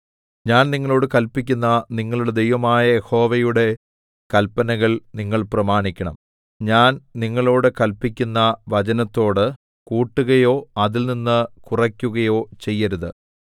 ഞാൻ നിങ്ങളോട് കല്പിക്കുന്ന നിങ്ങളുടെ ദൈവമായ യഹോവയുടെ കല്പനകൾ നിങ്ങൾ പ്രമാണിക്കണം ഞാൻ നിങ്ങളോട് കല്പിക്കുന്ന വചനത്തോട് കൂട്ടുകയോ അതിൽനിന്ന് കുറയ്ക്കുകയോ ചെയ്യരുത്